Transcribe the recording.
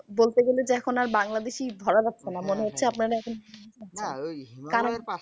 বলতে গেলে এখন আর বাংলাদেশী ধরা যাচ্ছে না। মনে হচ্ছে আপনারা এখন